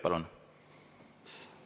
Palun!